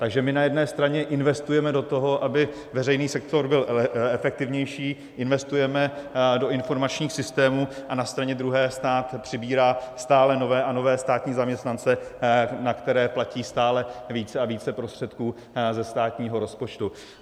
Takže my na jedné straně investujeme do toho, aby veřejný sektor byl efektivnější, investujeme do informačních systémů, a na straně druhé stát přibírá stále nové a nové státní zaměstnance, na které platí stále více a více prostředků ze státního rozpočtu.